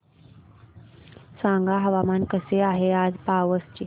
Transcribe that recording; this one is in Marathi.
सांगा हवामान कसे आहे आज पावस चे